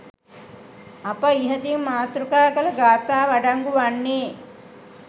අප ඉහතින් මාතෘකා කළ ගාථාව අඩංගු වන්නේ